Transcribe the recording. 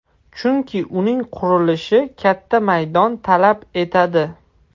Chunki uning qurilishi katta maydon talab etadi.